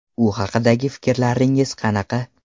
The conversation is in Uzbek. U haqidagi fikrlaringiz qanaqa?